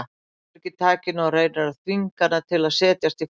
Hann sleppir ekki takinu og reynir að þvinga hana til að setjast í fang sér.